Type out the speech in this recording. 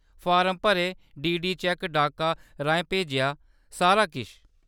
Form भरे, DD cheque डाका राहें भेजे, सारा किश।